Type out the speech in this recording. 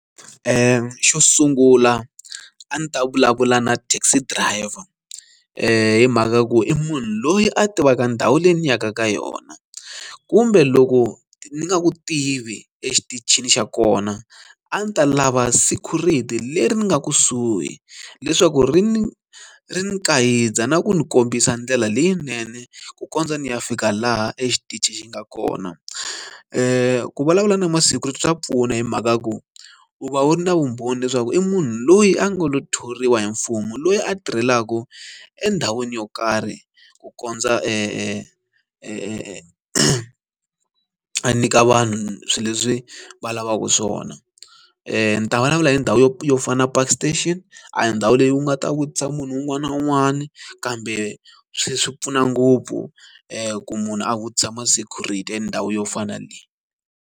Xo sungula a ndzi ta vulavula na taxi driver i mhaka ku i munhu loyi a tivaka ndhawu leyi ni yaka ka yona kumbe loko ni nga ku tivi exitichini xa kona a ndzi ta lava security leri ni nga kusuhi leswaku ri ni ri ni ku kayitsa na ku ni kombisa ndlela leyinene ku kondza ni ya fika laha exitichi xi nga kona ku vulavula na ma security swa pfuna hi mhaka ya ku u va u ri na vumbhoni leswaku i munhu loyi a nga lo thoriwa hi mfumo loyi a tirhelaka endhawini yo karhi ku kondza e e e e e a nyika vanhu swilo leswi va lavaka swona ni ta vulavula hi ndhawu yo yo fana na park station a hi ndhawu leyi u nga ta vutisa munhu un'wana na un'wana kambe swi swi pfuna ngopfu ku munhu a vutisa ma security endhawu yo fana na leyi.